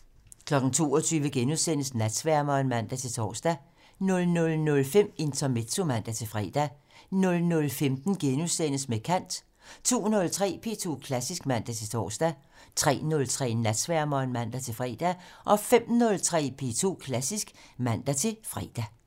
22:00: Natsværmeren *(man-tor) 00:05: Intermezzo (man-fre) 00:15: Med kant * 02:03: P2 Klassisk (man-tor) 03:03: Natsværmeren (man-fre) 05:03: P2 Klassisk (man-fre)